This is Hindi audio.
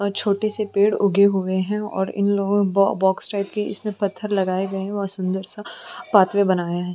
और छोटे से पेड़ उगे हुए हैं और इन लोगों बॉ बॉक्स ( टाइप की इसमें पत्थर लगाए गए है और सुंदर-सा पातवे बनाये हैं।